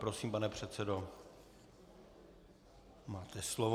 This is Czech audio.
Prosím, pane předsedo, máte slovo.